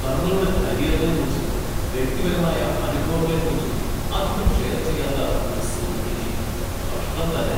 തങ്ങളുടെ കരിയറിനെക്കുറിച്ചും വ്യക്തിപരമായ അനുഭവങ്ങളെക്കുറിച്ചും അധികം ഷെയർ ചെയ്യാത്ത ഒരു സെലിബ്രിറ്റി! കഷ്ടം തന്നെ.